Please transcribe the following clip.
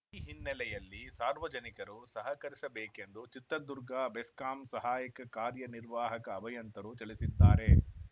ಈ ಹಿನ್ನೆಲೆಯಲ್ಲಿ ಸಾರ್ವಜನಿಕರು ಸಹಕರಿಸಬೇಕೆಂದು ಚಿತ್ರದುರ್ಗ ಬೆಸ್ಕಾಂ ಸಹಾಯಕ ಕಾರ್ಯನಿರ್ವಾಹಕ ಅಭಿಯಂತರರು ತಿಳಿಸಿದ್ದಾರೆ